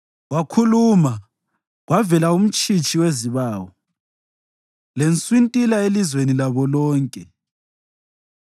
Wakhuluma, kwavela umtshitshi wezibawu, lenswintila elizweni labo lonke.